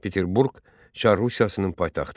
Peterburq Çar Rusiyasının paytaxtı.